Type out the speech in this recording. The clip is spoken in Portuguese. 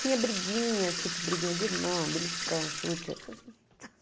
Tinha briguinha, tipo briguinha de irmão, beliscão, chute, essas